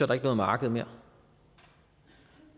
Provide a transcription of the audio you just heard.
der ikke noget marked mere